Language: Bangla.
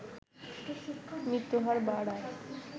মৃত্যুহার বাড়ার